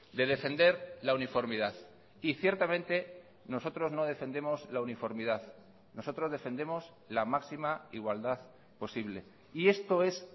de defender la uniformidad y ciertamente nosotros no defendemos la uniformidad nosotros defendemos la máxima igualdad posible y esto es